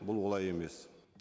бұл олай емес